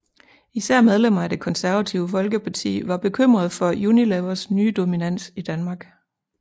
Især medlemmer af Det Konservative Folkeparti var bekymrede for Unilevers nye dominans i Danmark